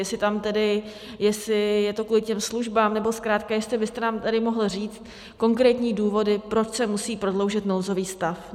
Jestli je to kvůli těm službám, nebo zkrátka jestli byste nám tady mohl říct konkrétní důvody, proč se musí prodloužit nouzový stav.